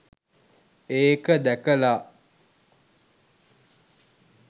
ඒක දැකලා